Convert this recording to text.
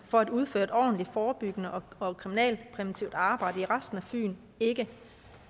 for at udføre et ordentligt forebyggende og kriminalpræventivt arbejde på resten af fyn ikke